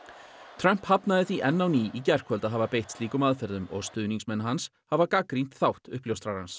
Trump hafnaði því enn á ný í gærkvöld að hafa beitt slíkum aðferðum og stuðningsmenn hans hafa gagnrýnt þátt uppljóstrarans